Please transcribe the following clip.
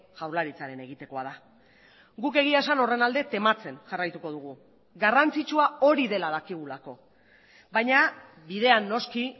jaurlaritzaren egitekoa da guk egia esan horren alde tematzen jarraituko dugu garrantzitsua hori dela dakigulako baina bidean noski